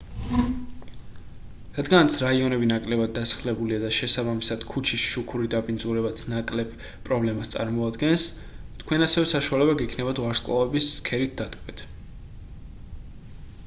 რადგანაც რაიონები ნაკლებად დასახლებულია და შესაბამისად ქუჩის შუქური დაბინძურებაც ნაკლებ პრობლემას წარმოადგენს თქვენ ასევე საშუალება გექნებათ ვარსკვლავების ცქერით დატკბეთ